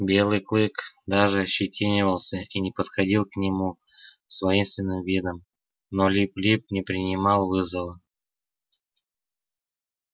белый клык даже ощетинивался и не подходил к нему с воинственным видом но лип лип не принимал вызова